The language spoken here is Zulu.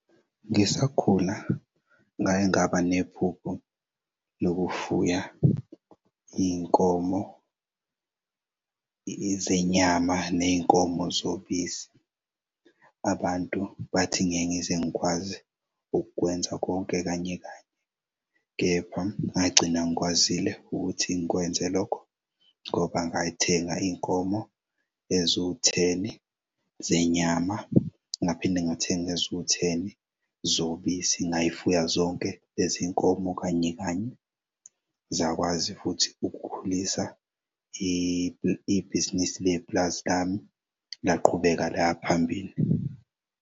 Ngisakhula ngake ngaba nephupho lokufuya iy'nkomo zenyama ney'nkomo zobisi. Abantu bathi ngeke ngize ngikwazi ukukwenza konke kanye kanye, kepha ngagcina ngikwazile ukuthi ngikwenze lokho ngoba ngayithenga iy'nkomo eziwu-ten zenyama. Ngaphinde ngathenga ezuwu-ten zobisi ngazifuya zonke lezinkomo kanye kanye zakwazi futhi ukukhulisa ibhizinisi lepulazi lami, laqhubeka laya phambili.